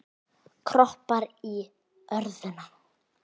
Kroppar í örðuna.